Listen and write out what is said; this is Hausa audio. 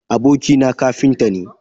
Abokina kafinta ne.